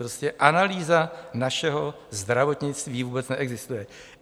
Prostě analýza našeho zdravotnictví vůbec neexistuje.